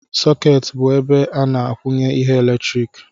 Sokeeti bụ ebe a na-akwụnye ihe eletrik